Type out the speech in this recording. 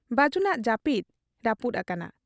ᱵᱟᱹᱡᱩᱱᱟᱜ ᱡᱟᱹᱯᱤᱫ ᱨᱟᱹᱯᱩᱫ ᱟᱠᱟᱱᱟ ᱾